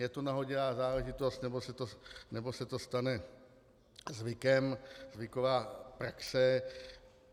Je to nahodilá záležitost, nebo se to stane zvykem, zvyková praxe?